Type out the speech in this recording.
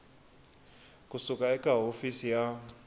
ku suka eka hofisi ya